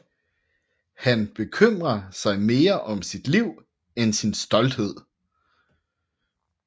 Han bekymrer sig mere om sit liv end sin stolthed